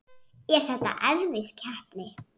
Er þetta erfið keppni?